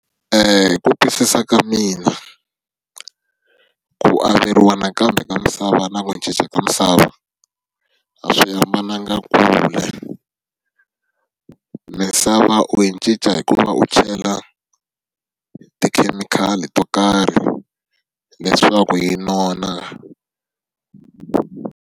Hi ku twisisa ka mina, ku averiwa nakambe ka misava na ku cinca ka misava, a swi hambananga kule. Misava u yi cinca hi ku va u chela tikhemikhali to karhi leswaku yi nona.